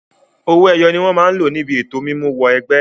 Àwọn owó ẹyọ ni wọn máa lò níbi ètò mímú wọ ẹgbẹ́.